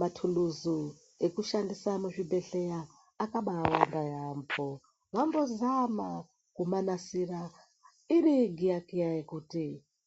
Mathuluzu ekushandisa muzvibhedhleya akabaawanda yaamho, vambozama kumanasira iri giyakiya yekuti